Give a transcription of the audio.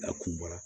A kun bɔra